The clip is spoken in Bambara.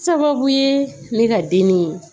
Sababu ye ne ka den ni